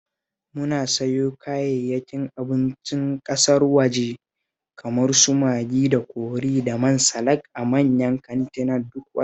Muna sayo kayayyakin abincin ƙasar waje kamar su Magi da kori da man salak a manyan kantina duk wata